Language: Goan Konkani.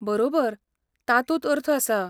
बरोबर! तातूंत अर्थ आसा.